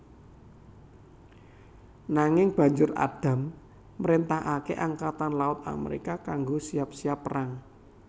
Nanging Banjur Adams mrentahake Angkatan Laut Amerika kanggo siap siap perang